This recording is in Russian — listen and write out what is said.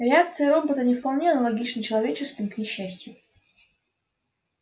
реакции робота не вполне аналогичны человеческим к несчастью